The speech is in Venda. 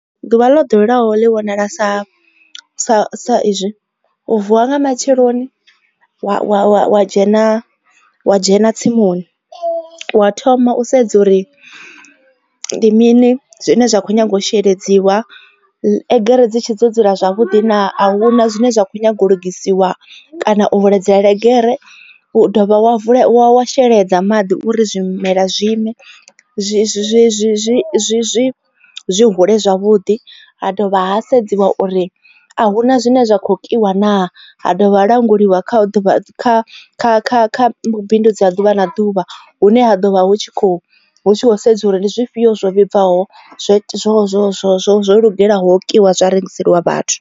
Ḓuvha ḽo ḓoweleaho ḽi vhonala sa sa sa izwi u vuwa nga matsheloni wa dzhena wadzhena tsimuni wa thoma u sedza uri ndi mini zwine zwa kho nyaga u sheledziwa egere dzi tshi dzo dzula zwavhuḓi na a huna zwine zwa kho nyaga u lugisiwa kana u kulidzele gere wa dovha wa wa sheledza maḓi uri zwimela zwiime zwi zwi hule zwavhuḓi ha dovha ha sedziwa uri a hu na zwine zwa kho kiwa naa ha dovha ha languliwa kha vhubindudzi ha ḓuvha na ḓuvha hune ha ḓovha hu tshi kho hu tshi khou sedziwa uri ndi zwifhio zwo vhibvaho zwo zwo zwo zwo zwo lugelaho kiwa zwa rengiseliwa vhathu.